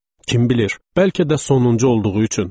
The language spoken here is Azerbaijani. Kim bilir, bəlkə də sonuncu olduğu üçün.